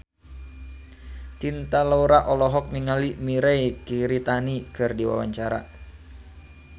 Cinta Laura olohok ningali Mirei Kiritani keur diwawancara